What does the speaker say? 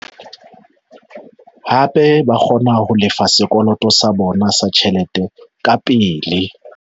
Hape ba kgona ho lefa sekoloto sa bona sa tjhelete kapele.